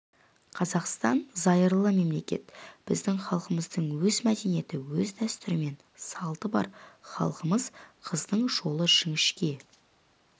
қазақстан зайырлы мемлекет біздің халқымыздың өз мәдениеті өз дәстүрі мен салты бар халқымыз қыздың жолы жіңішке